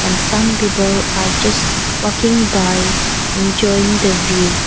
Some people are just walking by enjoying the view.